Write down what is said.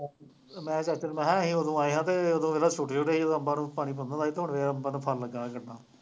ਮੈਂ ਕਿਹਾ ਚੱਲ ਚੱਲ, ਮੈਂ ਕਿਹਾ ਅਸੀਂ ਉਦੋਂ ਆਏ ਹਾਂ ਅਤੇ ਉਦੋਂ ਵੇਖ ਲਾ ਛੋਟੇ ਛੋਟੇ ਸੀ, ਉਦੋਂ ਅੰਂਬਾਂ ਨੂੰ ਪਾਣੀ ਪਾਉਂਦਾ ਹੁੰਦਾ ਸੀ ਅੰਬਾਂ ਨੂੰ ਫਲ ਲੱਗਾ ਹੋਇਆ ਕਿੰਨਾ